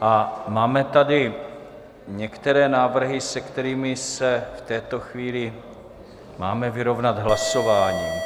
A máme tady některé návrhy, se kterými se v této chvíli máme vyrovnat hlasováním.